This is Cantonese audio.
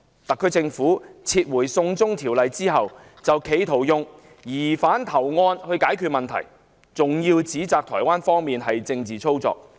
特區政府撤回"送中條例"後，企圖以疑犯投案來解決問題，更指摘台方的做法是"政治操作"。